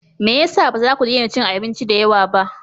Me ya sa ba za ku daina cin abinci da yawa ba?